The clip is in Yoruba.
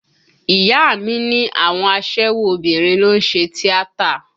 Ìyá a mi ní àwọn aṣẹ́wó obìnrin ló ń ṣe tíátà